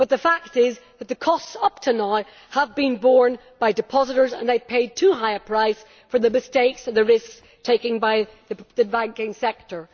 But the fact is that the costs up to now have been borne by depositors and they have paid too high a price for the mistakes and the risks taken by the banking sector.